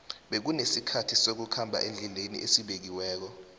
bekunesikhathi sokukhamba endleni esibekiwekko